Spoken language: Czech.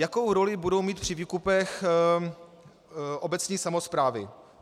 Jakou roli budou mít při výkupech obecní samosprávy?